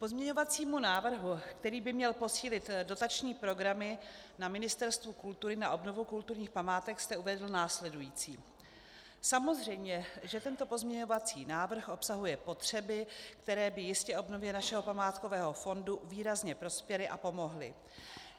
K pozměňovacímu návrhu, který by měl posílit dotační programu na Ministerstvu kultury na obnovu kulturních památek, jste uvedl následující: Samozřejmě že tento pozměňovací návrh obsahuje potřeby, které by jistě obnově našeho památkového fondu výrazně prospěly a pomohly.